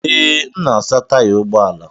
Ee, m na-asa taya ụgbọ ala.